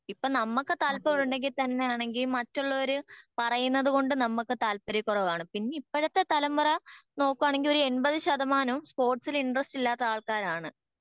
ഇപ്പൊ നമുക്ക് താല്പര്യം ഉണ്ടെങ്കി തന്നെ ആണെങ്കി മറ്റുള്ളവർ പറയുന്നത് കൊണ്ട് നമുക്ക് താൽപര്യക്കുറവാണ് പിന്നെ ഇപ്പോഴത്തെ തലമുറ നോക്കുവാണെങ്കി ഒരു എൺപത് ശതമാനാവും സ്പോർട്സിൽ ഇന്ട്രെസ്റ്റ് ഇല്ലാത്ത ആൾക്കാർ ആണ്